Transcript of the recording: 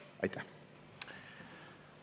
Aitäh!